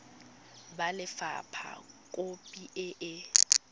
ba lefapha khopi e e